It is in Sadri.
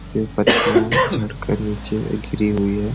से पत्तिया झाड़ कर नीचे गिरी हुई है।